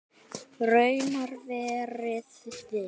Raunar verið viss.